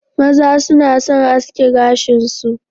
Maza suna aske gashin su